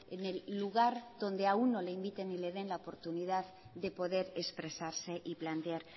en el lugar donde a uno le inviten y le den la oportunidad de poder expresarse y plantear